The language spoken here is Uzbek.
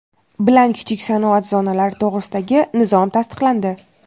bilan Kichik sanoat zonalari to‘g‘risidagi nizom tasdiqlandi.